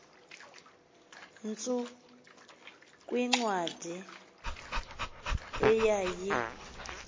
tsu kwincwadi eyayi